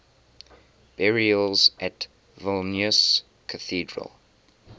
burials at vilnius cathedral